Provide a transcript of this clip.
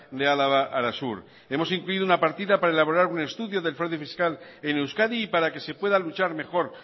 de álava arasur hemos incluido una partida para elaborar un estudio del fraude fiscal en euskadi y para que se pueda luchar mejor